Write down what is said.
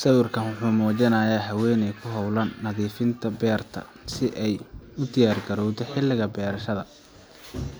Sawirkan wuxuu muujinayaa haweeney ku hawlan nadiifinta beerta si ay u diyaargarowdo xilliga beerashada.